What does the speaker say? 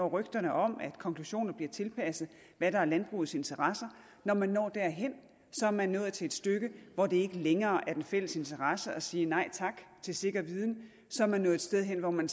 rygter om at konklusioner bliver tilpasset landbrugets interesser når man når derhen er man nået til et stykke hvor det ikke længere er i den fælles interesse at sige nej tak til sikker viden så er man nået et sted hen hvor man